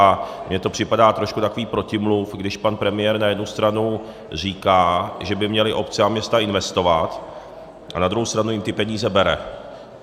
A mně to připadá trošku takový protimluv, když pan premiér na jednu stranu říká, že by měly obce a města investovat, a na druhou stranu jim ty peníze bere.